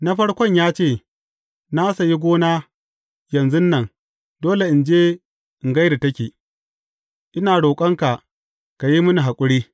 Na farkon ya ce, Na sayi gona yanzun nan, dole in je in ga yadda take, ina roƙonka ka yi mini haƙuri.’